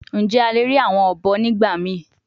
Njẹ a le rii awọn obo nigbamii?